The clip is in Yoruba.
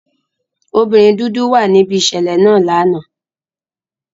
Obinrin dudu wa nibi iṣẹlẹ naa lana.